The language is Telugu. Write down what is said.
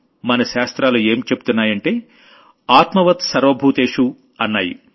మన శాస్త్రాలు ఏం చెబుతున్నాయంటే ఆత్మవత్ సర్వభూతేషు అన్నాయి